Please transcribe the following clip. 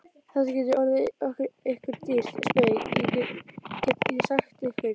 Þetta getur orðið ykkur dýrt spaug, get ég sagt ykkur!